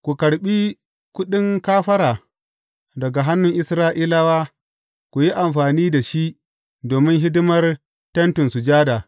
Ku karɓi kuɗin kafara daga hannun Isra’ilawa, ku yi amfani da shi domin hidimar Tentin Sujada.